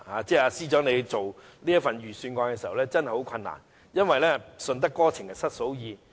司長制訂這份預算案真的很困難，因為"順得哥情失嫂意"。